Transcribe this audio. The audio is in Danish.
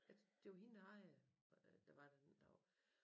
At det jo hende der ejer det der var der deroppe